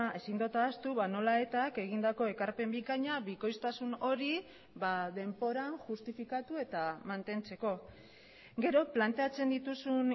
ezin dut ahaztu nola etak egindako ekarpen bikaina bikoiztasun hori ba denboran justifikatu eta mantentzeko gero planteatzen dituzun